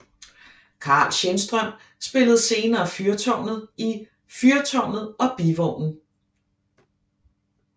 Carl Schenstrøm spillede senere fyrtårnet i Fyrtårnet og Bivognen